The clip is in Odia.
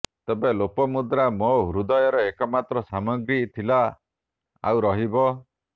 ତେବେ ଲୋପାମୁଦ୍ରା ମୋ ହୃଦୟର ଏକମାତ୍ର ସାମ୍ରାଜ୍ଞୀ ଥିଲା ଆଉ ରହିବ